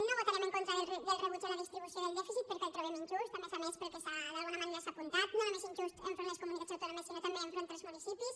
no votarem en contra del rebuig a la distribució del dèficit perquè el trobem injust a més a més pel que s’ha d’alguna manera apuntat no només injust enfront de les comunitats autònomes sinó també enfront dels municipis